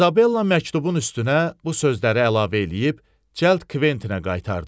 İzabella məktubun üstünə bu sözləri əlavə eləyib, cəld Kventinə qaytardı.